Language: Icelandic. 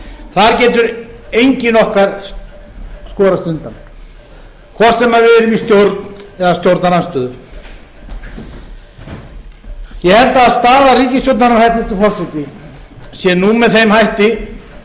þar getur enginn okkar skorist undan hvort sem við erum í stjórn eða stjórnarandstöðu ég held að staða ríkisstjórnarinnar hæstvirtur forseti sé nú með þeim hætti